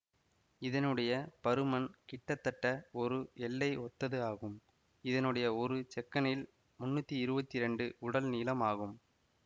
இதனுடைய பருமன் கிட்டத்தட்ட ஒரு எள்ளை ஒத்தது ஆகும் இதனுடைய ஒரு செக்கனில் முன்னூத்தி இருவத்தி இரண்டு உடல் நீளம் ஆகும்